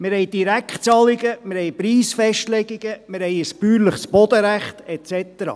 Wir haben Direktzahlungen, Preisfestlegungen, ein bäuerliches Bodenrecht und so weiter.